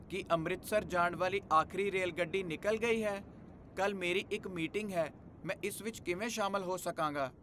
ਕੀ ਅੰਮ੍ਰਿਤਸਰ ਜਾਣ ਵਾਲੀ ਆਖਰੀ ਰੇਲਗੱਡੀ ਨਿਕਲ਼ ਗਈ ਹੈ? ਕੱਲ੍ਹ ਮੇਰੀ ਇੱਕ ਮੀਟਿੰਗ ਹੈ, ਮੈਂ ਇਸ ਵਿੱਚ ਕਿਵੇਂ ਸ਼ਾਮਲ ਹੋ ਸਕਾਂਗਾ?